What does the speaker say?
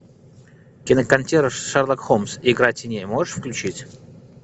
кинокартина шерлок холмс игра теней можешь включить